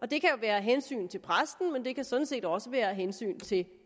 det kan jo være af hensyn til præsten men det kan sådan set også være af hensyn til